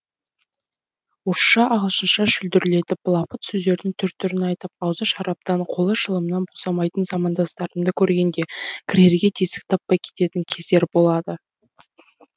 орысша ағылшынша шүлдірлетіп былапыт сөздердің түр түрін айтып аузы шараптан қолы шылымнан босамайтын замандастарымды көргенде кірерге тесік таппай кететін кездер болады